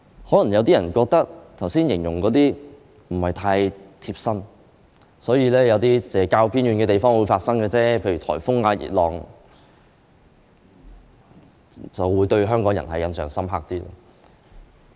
可能有些人認為，我剛才描述的事不是太貼身，認為只是較偏遠的地方才會發生，香港人對於颱風、熱浪等東西才會有較深刻的印象。